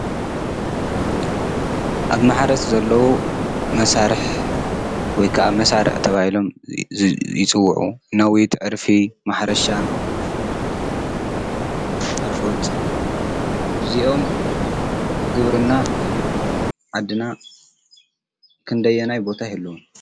ኣብ መሕረስ ዘለዉ መሳርሕ ወይ ከዓ መሳርዕ እተባሂሎም ይፅውዑ፡፡ ነዊት፣ ዕርፊ ፣ማሕረሻ ፣ኣርዑት እዚኦም ብግብርና ዓድና ክንደየናይ ቦታ ይህልዎም?